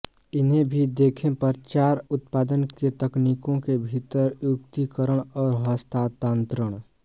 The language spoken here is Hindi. इन्हें भी देखें प्रचार उत्पादन के तकनीकों के भीतर युक्तिकरण और हस्तांतरण